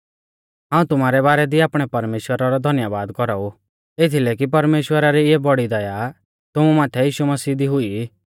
हाऊं तुमारै बारै दी आपणै परमेश्‍वरा रौ धन्यबाद कौराऊ एथीलै कि परमेश्‍वरा री इऐ बौड़ी दया तुमु माथै यीशु मसीह दी हुई